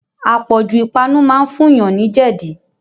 Apọ̀jù ipanu máa ń fún yàn ni jẹdi